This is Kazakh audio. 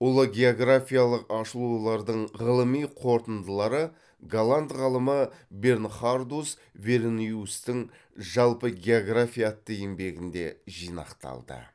ұлы географиялық ашылулардың ғылыми қорытындылары голланд ғалымы бернхардус верениустың жалпы география атты еңбегінде жинақталды